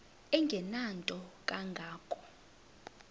engenanto kanga ko